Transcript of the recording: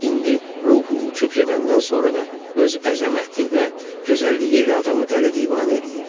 Hətta indi ruhu uçub gedəndən sonra da öz əzəməti və gözəlliyi ilə adamı dəli divanə eləyirdi.